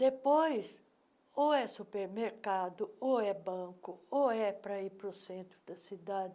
Depois, ou é supermercado, ou é banco, ou é para ir para o centro da cidade,